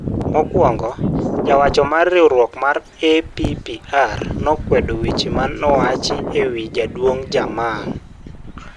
Mokwongo, jawacho mar riwrok ma APPR nokwedo weche manowach e wii Jaduong Jammeh.